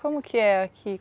Como que é aqui?